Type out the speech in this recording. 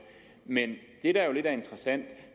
men det der jo lidt interessant